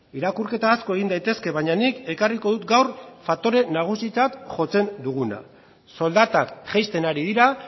irakurketa asko egin daitezke baina nik ekarriko dut gaur faktore nagusitzat jotzen duguna soldatak jaisten ari dira